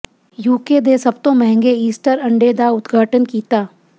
UK ਦੇ ਸਭ ਤੋਂ ਮਹਿੰਗੇ ਈਸਟਰ ਅੰਡੇ ਦਾ ਉਦਘਾਟਨ ਕੀਤਾ